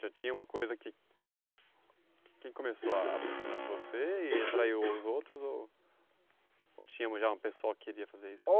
Já tinha uma coisa que... Que começou a impressionar você e atraiu os outros ou... Ou tinha já uma pessoa que queria fazer isso?